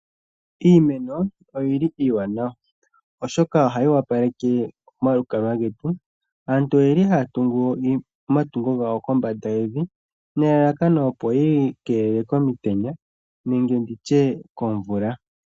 Iimeno oyili iiwanawa oshoka ohayi wapaleke omalukalwa getu, aaantu oyeli hayatungu omatungo gawo kombanda yevi nelalakano opo yiikeelele komitenya nenge nditye komvula.